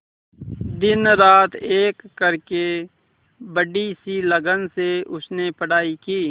दिनरात एक करके बड़ी ही लगन से उसने पढ़ाई की